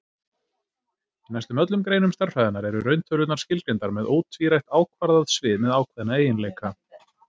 Í næstum öllum greinum stærðfræðinnar eru rauntölurnar skilgreindar sem ótvírætt ákvarðað svið með ákveðna eiginleika.